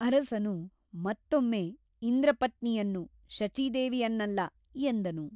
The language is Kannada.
ಅರಸನು ಮತ್ತೊಮ್ಮೆ ಇಂದ್ರಪತ್ನಿಯನ್ನು ಶಚೀದೇವಿಯನ್ನಲ್ಲ ಎಂದನು.